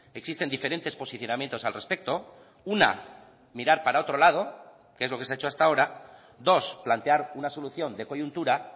existen diferentes posicionamientos al respecto una mirar para otro lado que es lo que se ha hecho hasta ahora dos plantear una solución de coyuntura